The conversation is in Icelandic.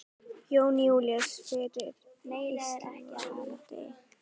Jón Júlíus: Fyrir Íslandi?